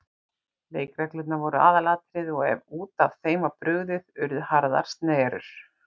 Leikreglurnar voru aðalatriði og ef út af þeim var brugðið urðu harðar snerrur.